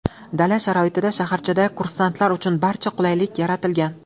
Dala sharoitida shaharchada kursantlar uchun barcha qulaylik yaratilgan.